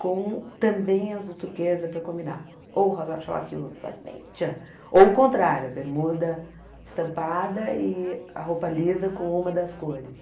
com também azul turquesa para combinar, ou rosário choque tchan, ou o contrário, bermuda estampada e a roupa lisa com uma das cores.